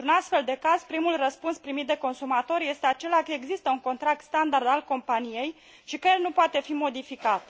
Într un astfel de caz, primul răspuns primit de consumator este acela că există un contract standard al companiei și că el nu poate fi modificat.